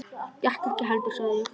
Ég ekki heldur sagði ég.